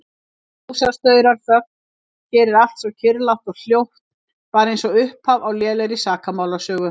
Ljósastaurar, þögn, hér er allt svo kyrrlátt og hljótt, bara einsog upphaf á lélegri sakamálasögu.